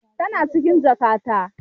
Tana cikin jakata.